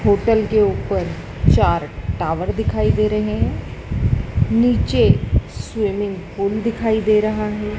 Hotel के ऊपर चार टावर दिखाई दे रहे हैं नीचे स्विमिंग पूल दिखाई दे रहा है।